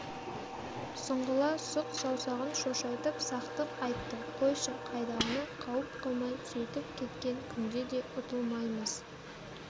сұңғыла сұқ саусағын шошайтып сақтық айтты қойшы қайдағыны қауіп қылмай сөйтіп кеткен күнде де ұтылмаймыз